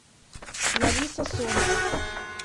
лариса сомова